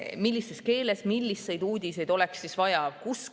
Millises keeles ja milliseid uudiseid oleks vaja?